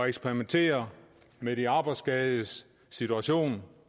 eksperimentere med de arbejdsskadedes situation